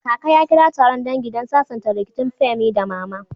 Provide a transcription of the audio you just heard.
Kaka ya kira taron dangi don sasanta rikicin Femi da Mama.